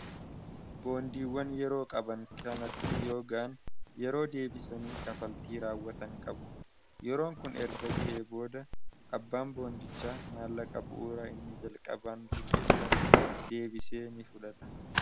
boondiiwwan yeroo qaban kanatti yoo gahan yeroo deebisanii kafaltii raawwatan qabu yeroon kun erga ga'ee booda abbaan boondichaa maallaqa dura inni jalqaban liqeessamr deebisee ni fudhata.